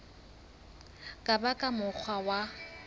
ka ba ka mokgwa wa